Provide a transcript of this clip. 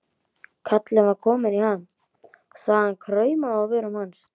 Kallinn var kominn í ham, sagan kraumaði á vörum hans.